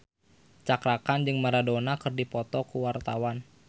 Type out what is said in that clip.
Cakra Khan jeung Maradona keur dipoto ku wartawan